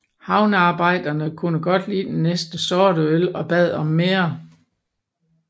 Havnearbejderne kunne godt lide den næsten sorte øl og bad om mere